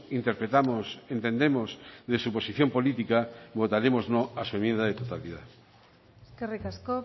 interpretamos entendemos de su posición política votaremos no a su enmienda de totalidad eskerrik asko